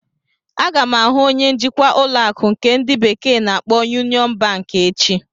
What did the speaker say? Aga m ahụ onye njikwa ụlọ akụ nke ndi bekee na-akpo Yunion Banki echi.